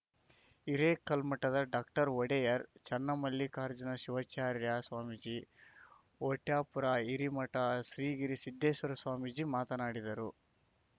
ಹಿರೇಕಲ್ಮಠದ doctor Odeyar Channamallikarjuna Shivacharya Swamiji Hotyapura Hirimath Shrigiri Siddeshwara Swamiji ಮಾತನಾಡಿದರು